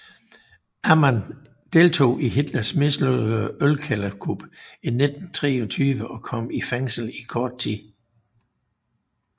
Amann deltog i Hitlers mislykkede ølkælderkup i 1923 og kom i fængsel i kort tid